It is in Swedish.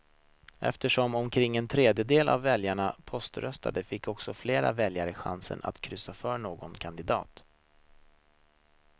Eftersom omkring en tredjedel av väljarna poströstar fick alltså fler väljare chansen att kryssa för någon kandidat.